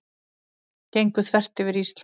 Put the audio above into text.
Gengu þvert yfir Ísland